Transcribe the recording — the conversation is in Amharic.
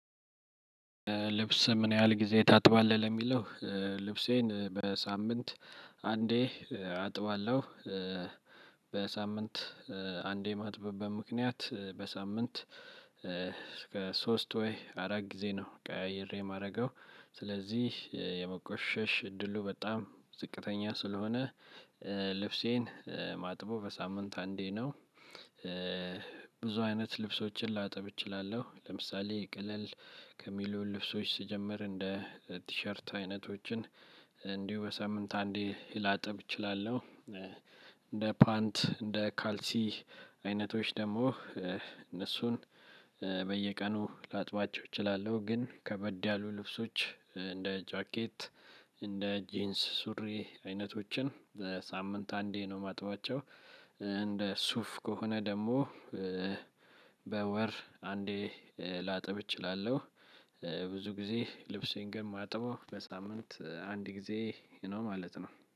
ልብስን ምን ያህል ጊዜ ታጥባለህ ለሚለው? ልብሴን በሳምንት አንዴ አጥባለሁ። በሳምንት አንዴ ማጥብበት ምክንያት በሳምንት ከሶስት ወይ አራት ጊዜ ነው ቀያይሬ ማደርገው። ስለዚህ የመቆሸሽ እድሉ በጣም ዝቅተኛ ስለሆነ ልብሴን ማጥበው በሳምንት አንዴ ነው። ብዙ አይነት ልብሶችን ላጥብ እችላለሁ ለምሳሌ ቀለል ከሚሉ ልብሶች ስጀምር እንደ ቲሸርት አይነቶችን እንዲሁ በሳምንት አንዴ ላጥብ እችላለሁ። እንደ ፓንት እንደ ካልሲ አይነቶች ደግሞ እነሱን በየቀኑ ላጥባቸው እችላለሁ። ግን ከበድ ያሉ ልብሶች እንደ ጃኬት እንደ ጅንስ ሱሪ አይነቶችን በሳምንት አንዴ ነው የማጥባቸው። እንደ ሱፍ ከሆነ ደግሞ በወር አንዴ ላጥብ እችላለሁ። ብዙ ጊዜ ልብሴን ግን ማጥበው በሳምንት አንድ ጊዜ ነው ማለት ነው